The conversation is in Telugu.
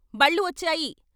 బళ్ళు వచ్చాయి.